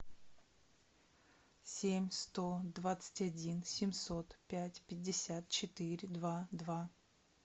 семь сто двадцать один семьсот пять пятьдесят четыре два два